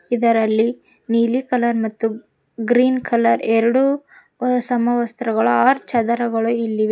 ಇದರಲ್ಲಿ ನೀಲಿ ಕಲರ್ ಮತ್ತು ಗ್ರೀನ್ ಕಲರ್ ಎರಡು ಸಮವಸ್ತ್ರಗಳು ಆರ್ ಚಾದರಗಳು ಇಲ್ಲಿವೆ.